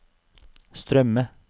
strømme